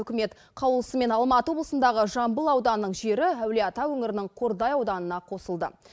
үкімет қаулысымен алматы облысындағы жамбыл ауданының жері әулиеата өңірінің қордай ауданына қосылды